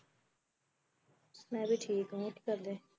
ਮੈਂ ਵੀ ਠੀਕ ਆ ਹੋਰ ਕੀ ਕਰਦੇ